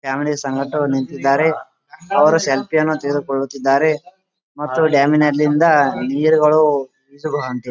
family ಸಂಗಡ ನಿಂತಿದ್ದಾರೆ ಅವರು ಸೆಲ್ಫಿಯನ್ನು ತೆಗೆದುಕೊಳ್ಳುತ್ತಿದ್ದಾರೆ ಮತ್ತು ಡ್ಯಾಮ್ ನಲ್ಲಿಂದ ನೀರುಗಳು ಈಜು --